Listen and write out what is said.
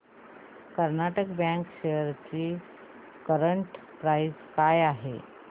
Karnataka bank shares ची current price काय आहे